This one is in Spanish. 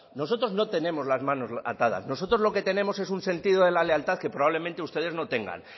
nosotros no tenemos las manos atadas nosotros lo que tenemos es un sentido de la lealtad que probablemente ustedes no tengan